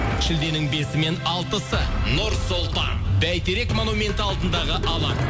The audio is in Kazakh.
шілденің бесі мен алтысы нұр сұлтан бәйтерек монументі алдындағы алаң